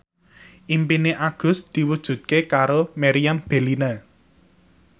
impine Agus diwujudke karo Meriam Bellina